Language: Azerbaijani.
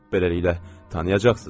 Beləliklə, tanıyacaqsınız da.